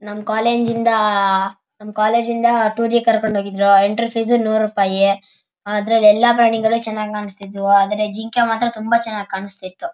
ನಮ್ ಕಾಲೇಜು ಇಂದ ನಮ್ ಕಾಲೇಜು ಇಂದ ಟೂರಿಗ್ ಕರ್ಕೊಂಡ್ ಹೋಗಿದ್ರು ಎಂಟ್ರೆನ್ಸ್ ಫೀಸ್ ನೂರ್ ರೂಪಾಯಿ ಅದ್ರಲ್ಲಿ ಎಲ್ಲ ಪ್ರಾಣಿಗಳು ಚೆನ್ನಾಗಿ ಕಾಣಿಸ್ತಿದ್ವು ಅದ್ರಲ್ಲಿ ಜಿಂಕೆ ಮಾತ್ರ ತುಂಬಾ ಚೆನ್ನಾಗಿ ಕಾಣಿಸ್ತಿತು.